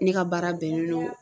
Ne ka baara bɛnnen don